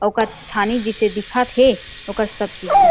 ओकर छानी जिसे दिखत हे ओकर सब चीज ह।